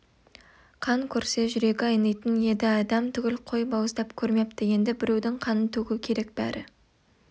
қан көрсе жүрегі айнитын еді адам түгіл қой бауыздап көрмепті енді біреудің қанын төгу керек бәрі